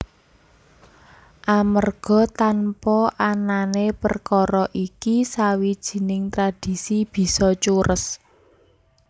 Amerga tanpa anané perkara iki sawijining tradhisi bisa cures